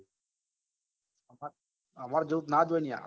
અમે જેવું તો નજ હોય ને યાર